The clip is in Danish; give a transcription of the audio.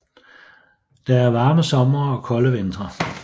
Der er varme somre og kolde vintre